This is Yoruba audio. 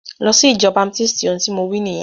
Lọ sí ìjọ baptisti! Ohun tí mo wí nìyẹn.